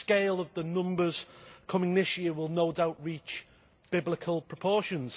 The scale of the numbers coming this year will no doubt reach biblical proportions.